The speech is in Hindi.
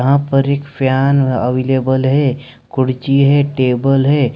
यहां पर एक फ़यान अवेलेबल है कुर्सी है टेबल है।